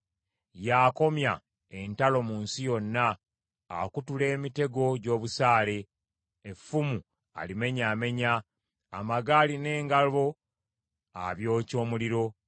Y’akomya entalo mu nsi yonna; akutula emitego gy’obusaale, effumu alimenyaamenya; amagaali n’engabo abyokya omuliro.